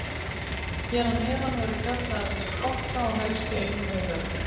Hér að neðan verður fjallað um þessa flokka og helstu einkenni þeirra.